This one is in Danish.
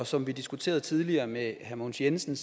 som vi diskuterede tidligere med herre mogens jensen